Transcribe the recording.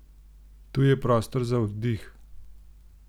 Tu je prostor za oddih.